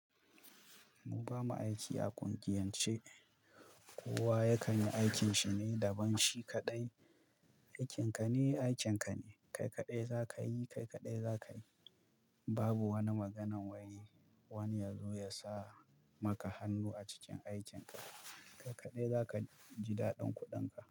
Mu ba mu aiki a ƙungiyance, kowa ya kan yi aikin shi ne da ban shi kaɗai. Aikin ka ne, aikin ka ne. Kai kaɗai za ka yi, kai kaɗai za ka yi. Babu wani maganan wai wani ya zo ya sa maka hannu a cikin aikin ka. Kai kaɗai za ka ji daɗin kuɗinka.